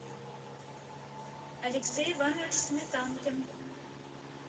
алексей иванович сметанкин